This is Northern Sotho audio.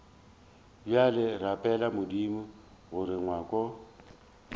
bjale rapela modimo gore ngwako